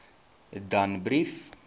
danbrief